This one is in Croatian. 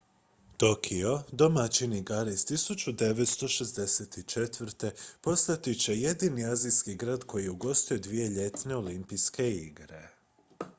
tokio domaćin igara iz 1964 postat će jedini azijski grad koji je ugostio dvije ljetne olimpijske igre